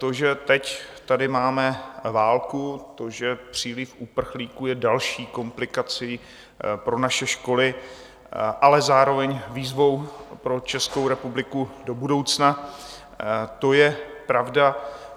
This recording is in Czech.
To, že teď tady máme válku, to, že příliv uprchlíků je další komplikací pro naše školy, ale zároveň výzvou pro Českou republiku do budoucna, to je pravda.